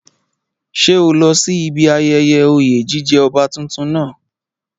Ṣé o lọ sí ibi ayẹyẹ oyè jíjẹ ọba tuntun náà?